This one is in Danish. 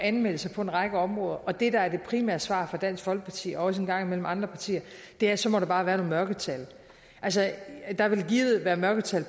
anmeldelserne på en række områder at det der er det primære svar fra dansk folkeparti og også en gang imellem fra andre partier er at så må der bare være nogle mørketal altså der vil givet være mørketal